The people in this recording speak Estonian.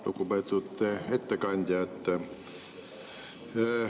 Lugupeetud ettekandja!